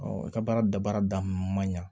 u ka baara dabaara daminɛ man ɲa